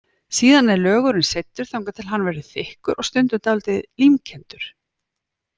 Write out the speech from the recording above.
Síðan er lögurinn seyddur, þangað til hann verður þykkur og stundum dálítið límkenndur.